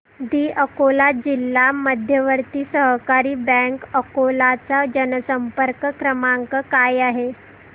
दि अकोला जिल्हा मध्यवर्ती सहकारी बँक अकोला चा जनसंपर्क क्रमांक काय आहे